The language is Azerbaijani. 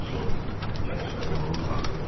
Gənc qadın onun ağzını tutdu.